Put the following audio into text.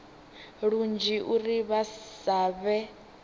lunzhi uri vha sa vhe